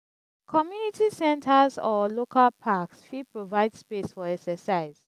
community centers or local parks fit provide space for exercise.